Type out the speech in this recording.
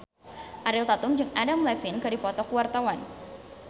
Ariel Tatum jeung Adam Levine keur dipoto ku wartawan